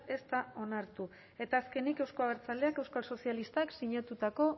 ez da onartu eta azkenik euzko abertzaleak taldeak euskal sozialistak sinatutako